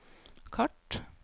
kart